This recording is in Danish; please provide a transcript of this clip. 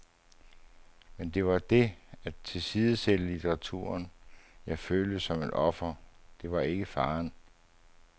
Men det var det, at tilsidesætte litteraturen, jeg følte som et offer, det var ikke faren.